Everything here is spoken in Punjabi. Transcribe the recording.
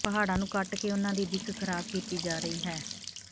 ਪਹਾੜਾਂ ਨੂੰ ਕੱਟ ਕੇ ਉਨ੍ਹਾਂ ਦੀ ਦਿੱਖ ਖਰਾਬ ਕੀਤੀ ਜਾ ਰਹੀ ਹੈ